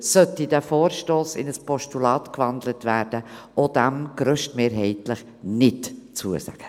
Sollte dieser Vorstoss in ein Postulat gewandelt werden, würde sie auch diesem grösstmehrheitlich nicht zustimmen.